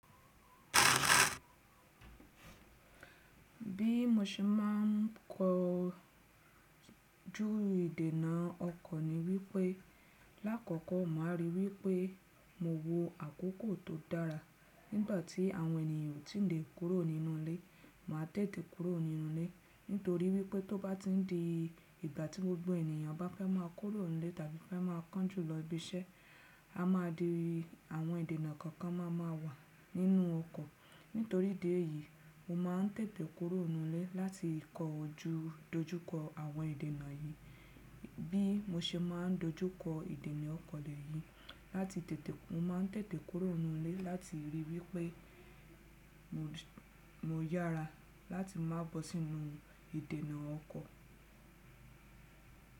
Bí mo ṣe máà ń kọ jú ìdènà ọkọ̀ ni wípé lákọ̀kọ́ màá ríi wípé mo wo àkókò tó dára. Nígbàtí àwọn ènìyàn ò tí lè kúrò nínú ilé, màá tètè kúrò nínú ilé. Nítorí wípé tó bá ti ń di ìgbà tí gbogbo ènìyàn bá fẹ́ má kúrò nílé tàbí fẹ́ má kán jùlọ ibi iṣẹ́ a má dì àwọn ìdènà kọ̀ọ̀kan má má wà nínú ọkọ̀. Nítorí idi e yí, mo má ń tètè kúrò nínú ilé láti kọ jú adojú kọ àwọn ìdènà yìí. Bí mo ṣe má ń dojú kọ ìdènà ọkọ̀ lè yìí, lati tete, mo má ń tètè kúrò nínú ilé láti ríi wípé mo yára láti má bọ́ sínú ìdènà ọkọ̀.